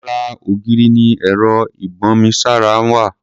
Ara ògiri ni ẹ̀rọ ìbomisára wà.